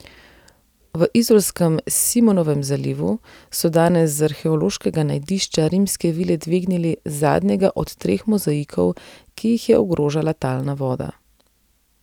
V izolskem Simonovem zalivu so danes z arheološkega najdišča rimske vile dvignili zadnjega od treh mozaikov, ki jih je ogrožala talna voda.